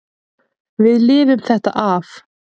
Við lifum þetta af.